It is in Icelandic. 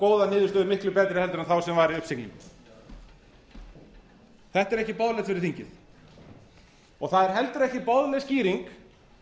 góða niðurstöðu miklu betri en þá sem var í uppsiglingu þetta er ekki boðlegt fyrir þingið það er heldur ekki boðleg skýring